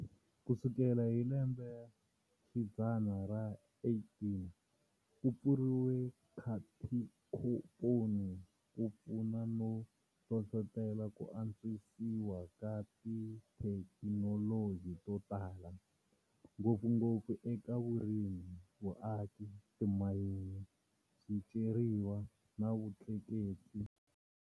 Kusukela hi lembexidzana ra 18, kupfuriwa katinkomponi kupfune no hlohlotela kuantswisiwa ka tithekinoloji to tala, ngopfungopfu eka vurimi, vuaki, timayini, swiceriwa na vutleketli.